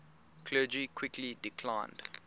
clergy quickly declined